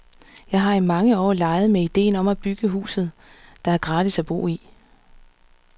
Jeg har i mange år leget med idéen om at bygge huset, der er gratis at bo i.